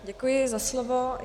Děkuji za slovo.